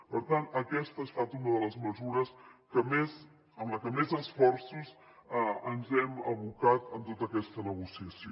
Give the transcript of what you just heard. per tant aquesta ha estat una de les mesures en la que més esforços hem abocat en tota aquesta negociació